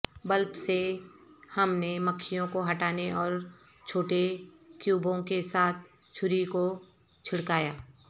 bulb سے ہم نے مکھیوں کو ہٹانے اور چھوٹے کیوبوں کے ساتھ چھری کو چھڑکایا